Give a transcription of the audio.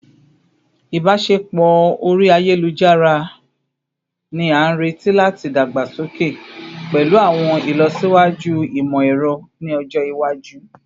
Ibaṣepọ ori ayelujara ni a nireti lati dagbasoke pẹlu awọn ilọsiwaju imọ-ẹrọ ni ọjọ iwaju